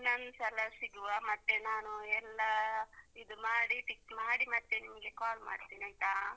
ಇನ್ನೊಂದ್ಸಲ ಸಿಗುವ ಮತ್ತೆ ನಾನು ಎಲ್ಲಾ ಇದು ಮಾಡಿ tick ಮಾಡಿ ಮತ್ತೆ ನಿಮ್ಗೆ call ಮಾಡ್ತೇನೆ ಆಯ್ತಾ.